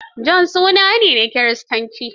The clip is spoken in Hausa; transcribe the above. John suna ne na kiristanci.